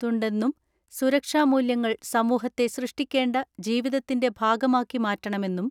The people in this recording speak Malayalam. തുണ്ടെന്നും സുരക്ഷാമൂല്യങ്ങൾ സമൂഹത്തെ സൃഷ്ടിക്കേണ്ട ജീവിതത്തിന്റെ ഭാഗമാക്കി മാറ്റണമെന്നും